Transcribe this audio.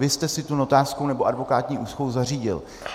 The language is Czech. Vy jste si tu notářskou nebo advokátní úschovu zařídil.